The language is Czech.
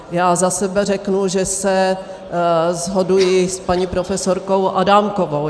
Já za sebe řeknu, že se shoduji s paní profesorkou Adámkovou.